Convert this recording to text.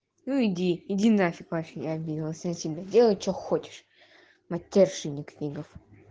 ну иди иди нафиг вообще я обиделась на тебя делай что хочешь матерщинник книгов